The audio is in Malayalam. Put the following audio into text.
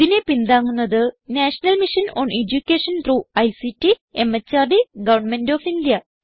ഇതിനെ പിന്താങ്ങുന്നത് national mission on education through ICT MHRD government of India